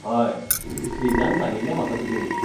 हय, श्रीजान सांगिल्लें म्हाका तुजेविशीं.